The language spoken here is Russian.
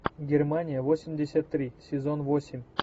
германия восемьдесят три сезон восемь